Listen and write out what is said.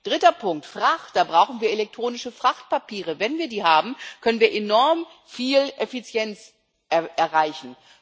Dritter Punkt Frachter. Wir brauchen elektronische Frachtpapiere. Wenn wir die haben, können wir enorm viel Effizienz erreichen.